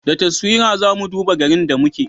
Da taswira za mu duba garin da muke